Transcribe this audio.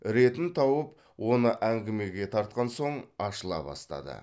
ретін тауып оны әңгімеге тартқан соң ашыла бастады